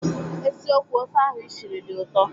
Eziokwu, ofe ahụ ishiri dị ụtọ